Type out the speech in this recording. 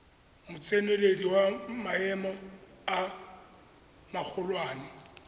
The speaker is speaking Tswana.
motseneledi wa maemo a magolwane